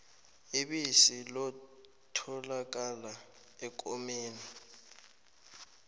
ibisi lotholakala ekomeni